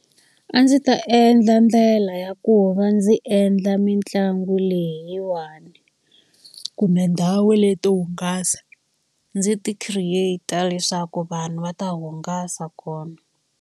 A ndzi ta endla ndlela ya ku va ndzi endla mitlangu leyiwani, kumbe ndhawu leti to hungasa. Ndzi ti create-a leswaku vanhu va ta hungasa kona.